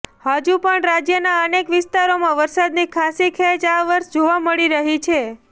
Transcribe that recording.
હજુ પણ રાજ્યના અનેક વિસ્તારોમાં વરસાદની ખાસ્સી ખેંચ આ વર્ષે જોવા મળી રહી છે